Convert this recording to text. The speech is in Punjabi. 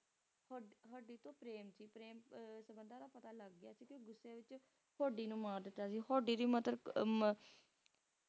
Hodi Hodi ਤੋਂ ਪ੍ਰੇਮ ਸੀ ਪ੍ਰੇਮ ਸੰਬੰਧਾਂ ਦਾ ਅਹ ਪਤਾ ਲੱਗ ਗਿਆ ਸੀ ਤੇ ਗੁੱਸੇ ਵਿੱਚ Hodi ਨੂੰ ਮਾਰ ਦਿੱਤਾ ਸੀ ਹਹੋਡੀ ਦੀ Mother ਅਹ